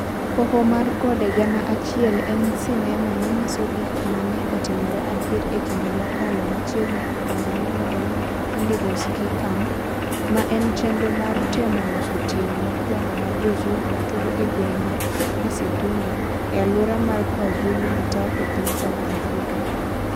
Hoho mar Gode Gana Achiel en sinema manyiso gik ma ne otimore adier e kinde mokalo machiegni e kambi miluongo ni Indigo Ski Camp, ma en chenro mar temo loso tieng ' mokwongo mar jo-Zulu matugo e gweng ' mar Isithumba, e alwora mar Kwazulu-Natal e piny South Africa.